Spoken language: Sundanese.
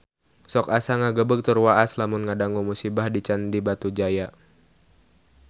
Sok asa ngagebeg tur waas lamun ngadangu musibah di Candi Batujaya